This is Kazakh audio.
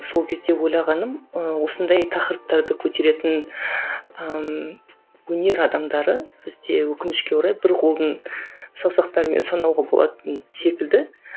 сол кезде ойлағаным ыыы осындай тақырыптарды көтеретін ыыы өнер адамдары бізде өкінішке орай бір қолдың саусақтарымен санауға болатын секілді